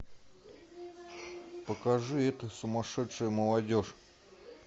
покажи эта сумасшедшая молодежь